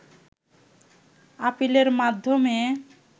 আপিলের মাধ্যমে